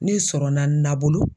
N'i sɔrɔ na nabolo.